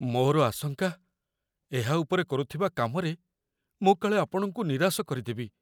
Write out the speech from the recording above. ମୋର ଆଶଙ୍କା, ଏହା ଉପରେ କରୁଥିବା କାମରେ ମୁଁ କାଳେ ଆପଣଙ୍କୁ ନିରାଶ କରିଦେବି।